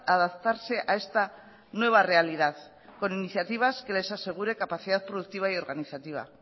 adaptarse a esta nueva realidad con iniciativas que les asegure capacidad productiva y organizativa